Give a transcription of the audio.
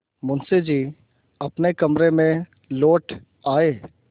मुंशी जी अपने कमरे में लौट आये